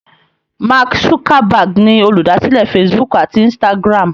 Mark Zuckerberg ni olùdásílẹ̀ Facebook àti Instagram.